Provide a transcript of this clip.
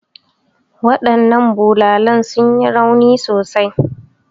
Waɗannan tubalan sun yi rauni sosai.